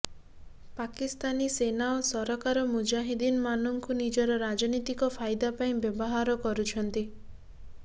ପାକିସ୍ତାନୀ ସେନା ଓ ସରକାର ମୁଜାହିଦ୍ଦିନମାନଙ୍କୁ ନିଜର ରାଜନୀତିକ ଫାଇଦା ପାଇଁ ବ୍ୟବହାର କରୁଛନ୍ତି